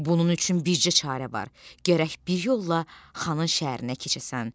Bunun üçün bircə çarə var, gərək bir yolla xanın şəhərinə keçəsən.